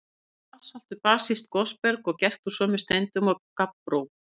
Basalt er basískt gosberg og gert úr sömu steindum og gabbró.